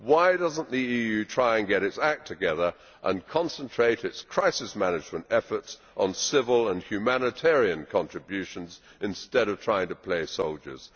Why does the EU not try to get its act together and concentrate its crisis management efforts on civil and humanitarian contributions, instead of trying to play soldiers.